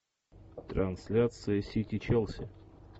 трансляция сити челси